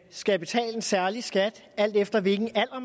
skal betale en særlig skat alt efter hvilken alder